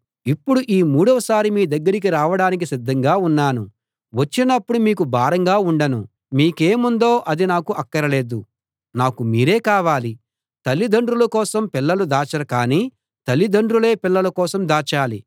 ఇప్పుడు ఈ మూడవసారి మీ దగ్గరికి రావడానికి సిద్ధంగా ఉన్నాను వచ్చినప్పుడు మీకు భారంగా ఉండను మీకేముందో అది నాకు అక్కరలేదు నాకు మీరే కావాలి తల్లిదండ్రుల కోసం పిల్లలు దాచరు కానీ తల్లిదండ్రులే పిల్లల కోసం దాచాలి